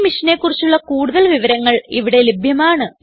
ഈ മിഷനെ കുറിച്ചുള്ള കുടുതൽ വിവരങ്ങൾ ഇവിടെ ലഭ്യമാണ്